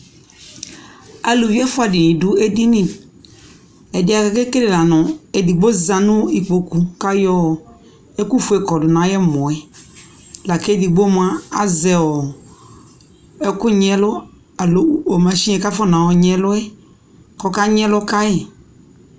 alʋvi ɛƒʋa dini dʋ ɛdini, ɛdiɛ kʋ akɛ kɛlɛ lanʋ, ɛdigbɔ zanʋ ikpɔkʋ kʋ ayɔ ɛkʋ ƒʋɛ kɔdʋ nʋ ayi ɛmɔɛ lakʋ ɛdigbɔ mʋa azɛɔ ɛkʋ nyi ɛlʋ alɔ mashini kʋ akɔnɔ nyi ɛlʋɛ kʋ ɔka nyi ɛlʋ kayi